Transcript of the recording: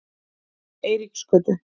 Eiríksgötu